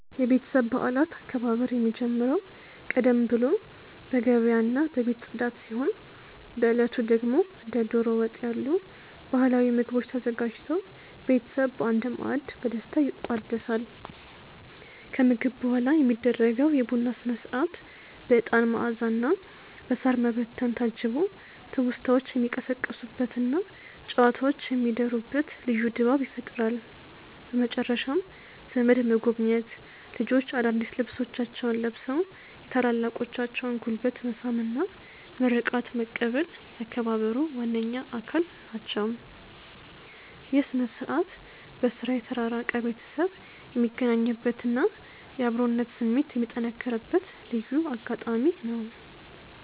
የቤተሰብ በዓላት አከባበር የሚጀምረው ቀደም ብሎ በገበያና በቤት ጽዳት ሲሆን፣ በዕለቱ ደግሞ እንደ ደሮ ወጥ ያሉ ባህላዊ ምግቦች ተዘጋጅተው ቤተሰብ በአንድ ማዕድ በደስታ ይቋደሳል። ከምግብ በኋላ የሚደረገው የቡና ሥነ-ሥርዓት በዕጣን መዓዛና በሳር መበተን ታጅቦ ትውስታዎች የሚቀሰቀሱበትና ጨዋታዎች የሚደሩበት ልዩ ድባብ ይፈጥራል። በመጨረሻም ዘመድ መጎብኘት፣ ልጆች አዳዲስ ልብሶቻቸውን ለብሰው የታላላቆችን ጉልበት መሳም እና ምርቃት መቀበል የአከባበሩ ዋነኛ አካል ናቸው። ይህ ሥነ-ሥርዓት በሥራ የተራራቀ ቤተሰብ የሚገናኝበትና የአብሮነት ስሜት የሚጠነክርበት ልዩ አጋጣሚ ነው።